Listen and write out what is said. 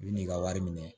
I bi n'i ka wari minɛ